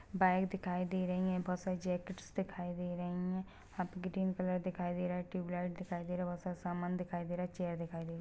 Bag दिखाई दे रही है बहुत सारी जेकेट्स दिखाई दे रही है हा पे ग्रीन कलर दिखाई दे रहा है ट्यूबलाइट दिखाई दे रहा है बहुत सारा सामान दिखाई दे रहा है चेयर दिखाई दे रहा है।